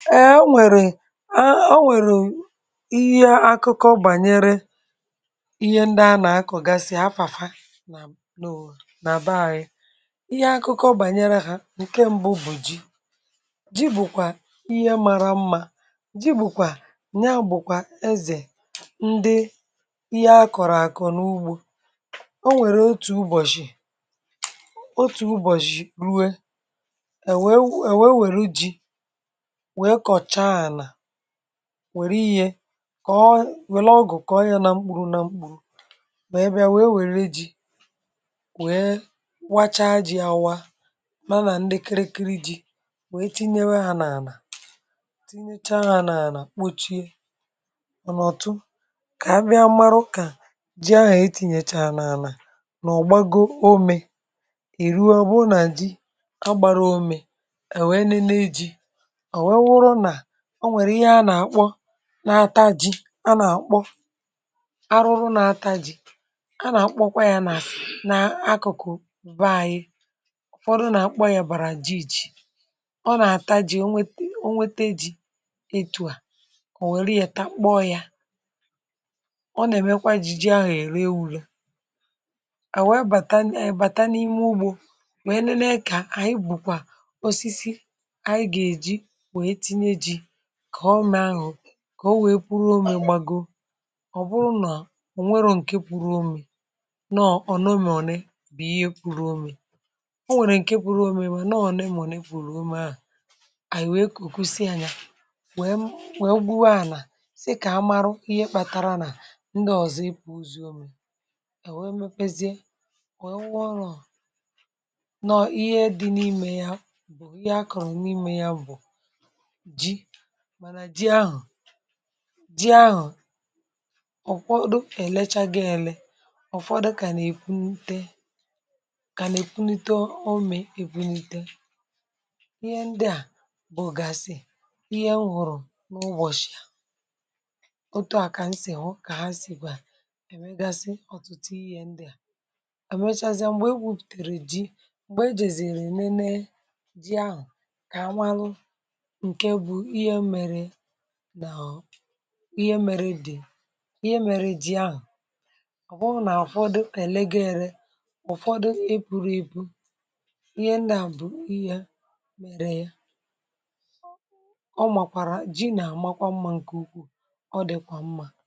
E e nwèrè ihe akụkọ gbànyere ihe ndị a na-akọ gasịa afàfà na na àbà ya. Ihe akụkọ gbànyere ha, nke mbụ bụ ji. Ji bụkwa ihe mara mma. um Ji bụkwa nya, bụkwa ezè ndị ihe akọrọ àkọ n’ugbò. Ọ nwèrè otu ụbọ̀chị, otu ụbọ̀chị rue e, wee were ji were ihe kọọ wẹlọ ọgụ, kà ọnya na mkpụrụ na mkpụrụ. Ma ebe ya wee were ji wee wacha ji awa, mana ndekerekiri ji wee tinye ya um a na tinye cha, a na kpochie. Mana ọtụ ka ebe mara ukà ji ahụ, e tinyekwa na a na ọgbago. Omè eruo, bụrụ na ji agbara omè, um e nwere ihe na-eme. Ji na-ataji a na-akpọ ya arụrụ na-ataji. A na-akpọkwa ya n’akụkọ vaayị, ụfọdụ na-akpọ ya bàrà ji. um Iji ọ na-ataji, ọ nwete ji itụ à, ọ were ya kpoo, ya na-eme ji ji ahụ. E rewula à, wụrụ bata n’ime ugbò, wee lee ka anyị bụkwa osisi a ga-eji. Ka ọ nwèe pụrụ um ime omè, gbago.Ọ bụrụ na ọ nweghị nke pụrụ omè, nọ ọnọ bụ ihe pụrụ omè nọ ọnọ. N’omè bụ ihe pụrụ omè nọ ọnọ, um n’omè a enwe kọkọsi, anya nwè m, nwè mbuwe. A na sị ka a marụ ihe kpatara na ndị ọzọ ipụ ozi omè. E wee mepee zie wu ọrụ ọ nọ. Ihe dị n’ime ya bụ ihe akọrọ n’ime ya, bụ ji ahụ. Ọ kwọdụ elee gị ele? um Ọ kwọdụ ka na ekwunite, ka na ekwunite. Omè ekwunite ihe ndị a bụ ògasi. Ihe a hụrụ n’ụbọ̀chị ahụ, otu a ka m sì, otu ka um ha sị gwa, emeghasị ọtụtụ ihe ndị a. Mgbe e gwupụtara ji, mgbe e jere zịrị eme ne ji ahụ, ihe mere dị ka ihe mere dị. A ọhọ na ahọ, dị ka ele ga um ere. Ụfọdụ e buru ebu ihe ndị a bụ ihe mere ya. Ọ makwara ji na-amakwa mma, nke ukwuu. Ọ dịkwa mma